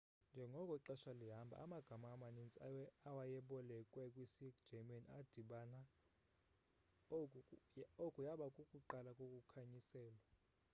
njengoko ixesha lihamba amagama amanintsi awayebolekwe kwisi german adibana oku yaba kukuqala kokukhanyiselwa